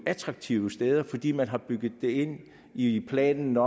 attraktive steder fordi man har bygget det ind i planen